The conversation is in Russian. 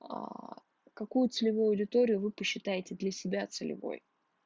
аа какую целевую аудиторию вы посчитаете для себя целевой